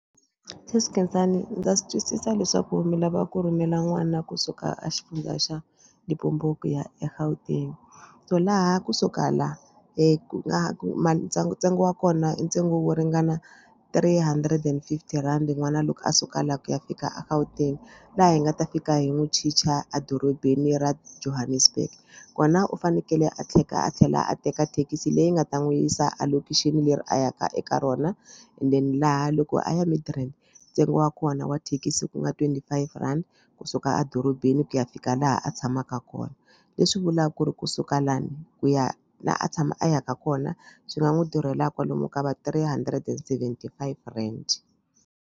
Sesi Khensani ndza swi twisisa leswaku mi lava ku rhumela n'wana kusuka a xifundza xa Limpopo ku ya eGauteng so laha kusuka laha ku nga ku ma ntsengo ntsengo wa kona i ntsengo wo ringana three hundred and fifty rand n'wana loko a suka laha ku ya fika a Gauteng laha hi nga ta fika hi n'wi chicha adorobeni ra Johannesburg. Kona u fanekele a a tlhela a teka thekisi leyi nga ta n'wi yisa a location leri a ya ka eka rona and then laha loko a ya Midrand ntsengo wa kona wa thekisi ku nga twenty five rand kusuka edorobeni ku ya fika laha a tshamaka kona. Leswi vulaka ku ri kusuka lani ku ya laha a tshama a yaka kona swi nga n'wi durhela kwalomu ka va three hundred and seventy five rand.